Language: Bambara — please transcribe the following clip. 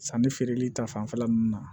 Sanni feereli ta fanfɛla nunnu na